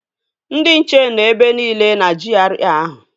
Ndị nche nọ ebe nile na GRA ahụ